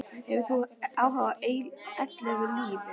Hefur þú áhuga á eilífu lífi?